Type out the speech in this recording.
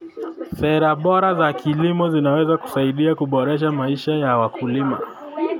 Sera bora za kilimo zinaweza kusaidia kuboresha maisha ya wakulima.